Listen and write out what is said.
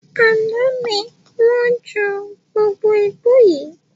Àná ni wọn jù gbogbo igbó yii